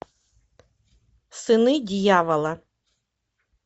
сыны дьявола